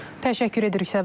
Təşəkkür edirik, Səbinə.